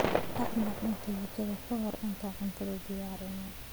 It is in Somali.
Dhaq maacuunta jikada ka hor intaadan cuntada diyaarin.